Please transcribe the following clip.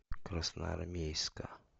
красноармейска